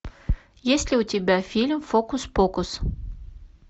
есть ли у тебя фильм фокус покус